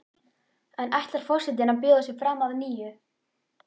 En ætlar forsetinn að bjóða sig fram að nýju?